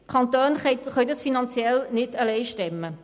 Die Kantone können dies finanziell nicht alleine stemmen.